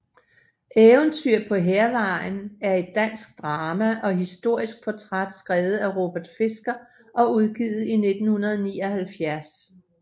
Eventyr på Hærvejen er et dansk drama og historisk portræt skrevet af Robert Fisker og udgivet i 1979